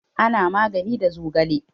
Ana magani da zogale.